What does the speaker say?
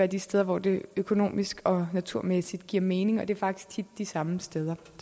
de steder hvor det økonomisk og naturmæssigt giver mening og det er faktisk tit de samme steder